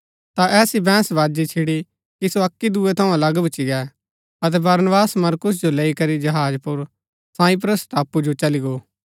ता ऐसी बैहंस बाजी छिड़ी कि सो अक्की दुँयै थऊँ अलग भूच्ची गै अतै बरनबास मरकुस जो लैई करी जहाज पुर साइप्रस टापू चली गो